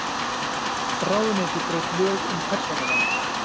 Ráðuneyti braut lög um persónuvernd